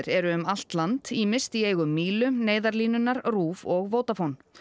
eru um allt land ýmist í eigu Mílu Neyðarlínunnar RÚV og Vodafone